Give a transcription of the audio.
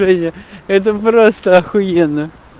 ение это просто ахуенно